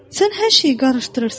Sən hər şeyi qarışdırırsan.